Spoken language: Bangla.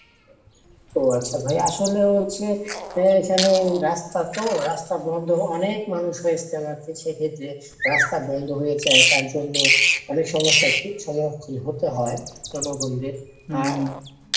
ও আচ্ছা ভাইয়া আসলে হচ্ছে এখানে রাস্তা তো রাস্তা বন্ধ অনেক মানুষ হয় ইজতেমাতে সেক্ষত্রে রাস্তা বন্ধ হয়ে যায় তার জন্য অনেক সমস্যার সম্মুখীন হতে হয় জনগণদের